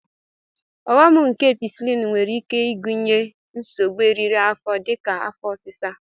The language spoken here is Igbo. Ọghom nke Ampisilin nwere ike ịgụnye nsogbu eriri afọ dịka afọ ọsịsa